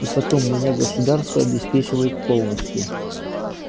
и потом меня государство обеспечивает полностью